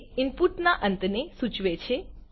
તે ઇનપુટ ના અંતને સૂચવે છે